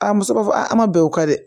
A muso b'a fɔ a ma bɛn o kan dɛ